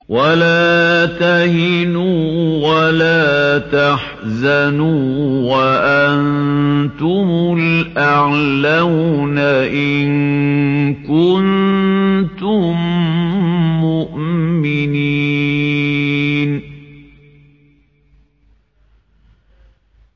وَلَا تَهِنُوا وَلَا تَحْزَنُوا وَأَنتُمُ الْأَعْلَوْنَ إِن كُنتُم مُّؤْمِنِينَ